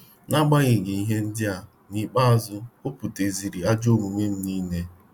Na- agbanyeghị ihe ndịa, nikpeazụ obuputeziri ajọ omume m nile